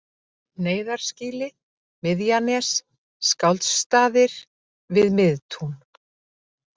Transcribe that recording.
Neyðarskýli, Miðjanes, Skáldsstaðir, Við Miðtún